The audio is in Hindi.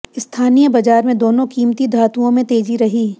स्थानीय बाजार में दोनों कीमती धातुओं में तेजी रही